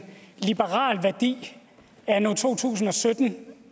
liberal værdi anno to tusind og sytten